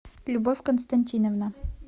любовь константиновна